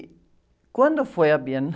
E quando foi a